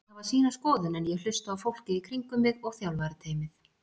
Allir hafa sína skoðun en ég hlusta á fólkið í kringum mig og þjálfarateymið.